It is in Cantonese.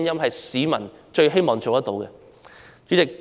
這是他們最希望做到的事。